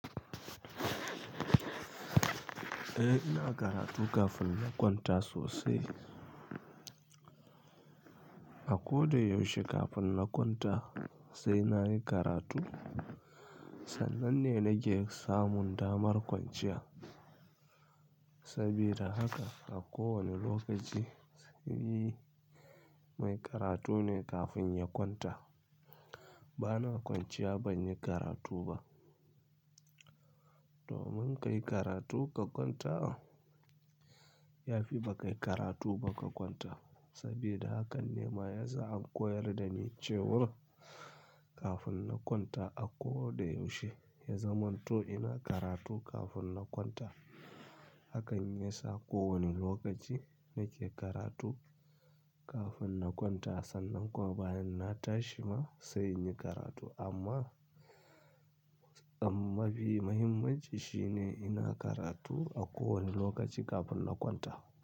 Eh, ina karatu kafin na kwanta sosai. A ko da yaushe kafin na kwanta sai na yi karatu. Sannan ne nake samun damar kwanciya. Saboda haka a kowane lokaci sai mai karatu ne kafin ya kwanta. Bana kwanciya banyi karatu ba. Domin kai karatu ka kwanta, yafi ba kai karatu ba ka kwanta. Saboda hakan ne ma yasa aka koyar da ni cewa kafin na kwanta a ko da yaushe ya zaman to ina karatu kafin na kwanta. Hakan ya sa ko wane lokaci nake karatu kafin na kwanta, sannan kuwa bayan na tashi ma sai in yi karatu. Amma mafi muhimmin shi ne ina karatu a kowane lokaci kafin na kwanta.